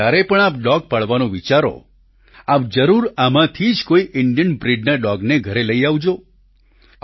હવે જ્યારે પણ આપ ડોગ પાળવાનું વિચારો આપ જરૂર આમાંથી જ કોઈ ઈન્ડિયન બ્રિડના ડોગને ઘરે લઈ આવજો